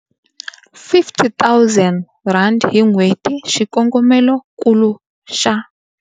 R50 000 hi n'hweti, xikongomelonkulu xa.